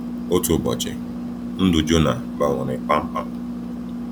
Otu ụbọchị, ndụ Jona gbanwere kpamkpam.